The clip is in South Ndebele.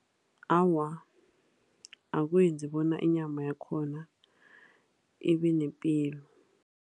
Awa, akwenzi bona inyama yakhona ibenepilo.